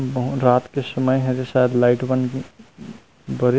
बहुत रात के समय हरे शायद लाइट बंद हे बरे--